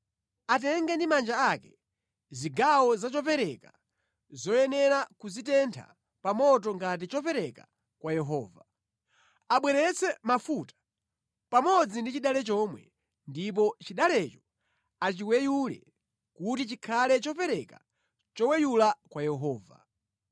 Atenge ndi manja ake zigawo za chopereka zoyenera kuzitentha pa moto ngati chopereka kwa Yehova. Abweretse mafuta, pamodzi ndi chidale chomwe, ndipo chidalecho achiweyule kuti chikhale chopereka choweyula kwa Yehova.